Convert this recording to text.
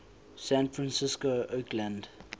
san francisco oakland